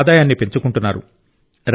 వారి ఆదాయాన్ని పెంచుకుంటున్నారు